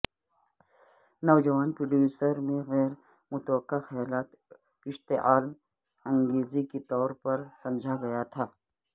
نوجوان پروڈیوسر میں غیر متوقع خیالات اشتعال انگیزی کے طور پر سمجھا گیا تھا